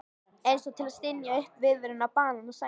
Einsog til að stynja upp viðvörun á banasænginni.